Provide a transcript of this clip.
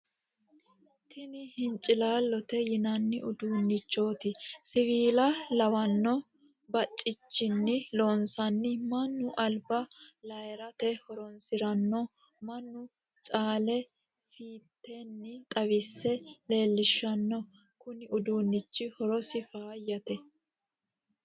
Tini hincilalote yinanni uduunchoti siwiila lawano bacichinni loonsanni mannu alba lairate horonsirano mannu caale fiiteni xawise leelishano kuni uduunchi horosi fayyate.